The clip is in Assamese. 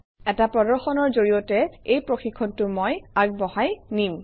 এটা প্ৰদৰ্শনৰ জৰিয়তে এই প্ৰশিক্ষণটো মই আগবঢ়াই নিম